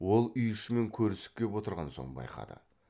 ол үй ішімен көрісіп кеп отырған соң байқады